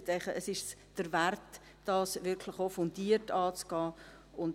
Ich denke, es ist es wert, dies wirklich auch fundiert anzugehen.